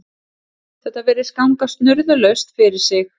Þetta virðist ganga snurðulaust fyrir sig